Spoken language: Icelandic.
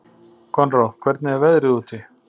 Konráð, hvernig er veðrið úti?